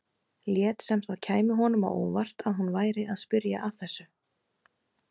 Lét sem það kæmi honum á óvart að hún væri að spyrja að þessu.